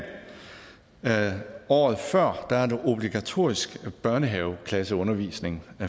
året før er der obligatorisk børnehaveklasseundervisning og